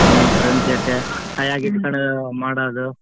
ಹ್ಮ್ friends ಜೊತೆ ಕೈಯಾಗ ಇಟ್ಕೊಂಡ್ ಮಾಡೊದು.